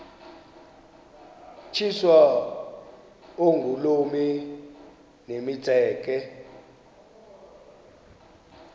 tyiswa oogolomi nemitseke